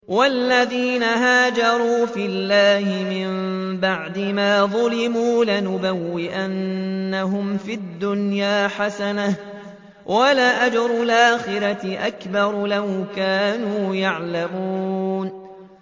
وَالَّذِينَ هَاجَرُوا فِي اللَّهِ مِن بَعْدِ مَا ظُلِمُوا لَنُبَوِّئَنَّهُمْ فِي الدُّنْيَا حَسَنَةً ۖ وَلَأَجْرُ الْآخِرَةِ أَكْبَرُ ۚ لَوْ كَانُوا يَعْلَمُونَ